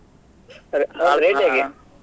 ಅವ್ರ್ ಅವ್ರ rate ಹೇಗೆ.